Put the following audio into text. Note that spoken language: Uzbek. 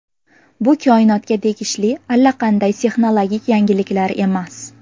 Bu koinotga tegishli allaqanday texnologik yangiliklar emas.